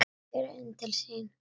Flýtti sér inn til sín.